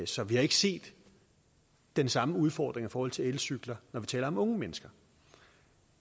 så vi har ikke set den samme udfordring i forhold til elcykler når vi taler om unge mennesker